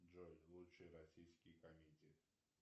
джой лучшие российские комедии